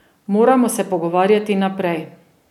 Moramo se pogovarjati naprej.